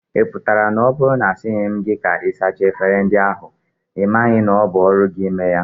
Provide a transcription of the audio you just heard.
Ị pụtara na ọ bụrụ na a sịghị m gị ka ị sachaa efere ndị ahụ, ị maghị na ọ bụ ọrụ gị ime ya?